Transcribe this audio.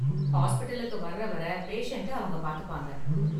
ஹாஸ்பிடலுக்கு வர்ற வர பேசண்ட்ட அவங்க பாத்துப்பாங்க.